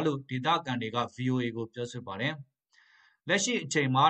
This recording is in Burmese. လို့ဒေသခံတွေက ပြောပါတယ်။ လက်ရှိအချိန်မှာ